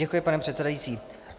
Děkuji, pane předsedající.